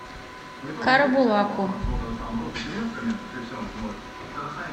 карабулаку